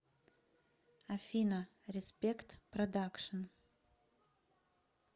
афина респект продакшн